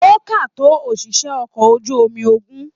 O ká tó oṣiṣẹ okọ̀ ojú omi ogún.